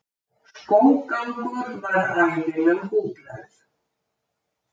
skóggangur var ævilöng útlegð